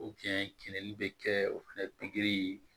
bɛ kɛ o fɛnɛ pikiri